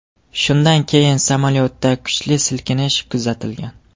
Shundan keyin samolyotda kuchli silkinish kuzatilgan.